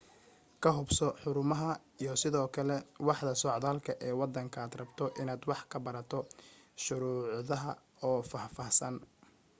ka hubso xarumaha, iyo sidoo kale waaxda socdaalka ee wadanka aad rabto inaad wax ka barato shuruudaha oo faahfaahsan